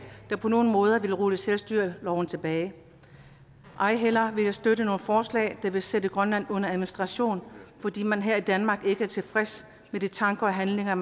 der på nogen måde vil rulle selvstyreloven tilbage ej heller at støtte forslag der vil sætte grønland under administration fordi man her i danmark ikke er tilfreds med de tanker og handlinger